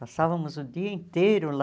Passávamos o dia inteiro lá